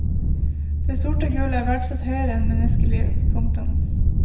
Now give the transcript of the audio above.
Det sorte gull er verdsatt høyere enn menneskeliv. punktum